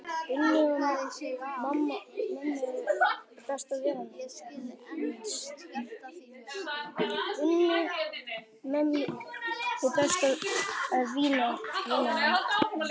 Gunnu, mömmu besta vinar míns.